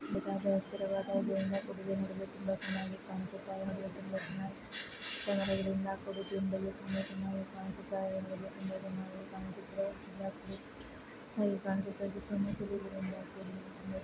ಬಹಳ ಎತ್ತರವಾದ ದೂರದಿಂದ ನೋಡಲು ತುಂಬಾ ಚೆನ್ನಾಗಿ ಕಾಣಿಸ್ತಾ ಇದೆ. ಆಗಿ ಮಣ್ಣುಗಳಿಂದ ಕೂಡಿದ್ದು ತುಂಬಾ ಚೆನ್ನಾಗಿ ಕಾಣಿಸುತ್ತ ತುಂಬಾ ಚೆನ್ನಾಗಿ ಕಾಣಿಸುತ್ತಾ ಇದೆ ಸುತ್ತಮುತ್ತಲಿ ಇರುವಂತಹ--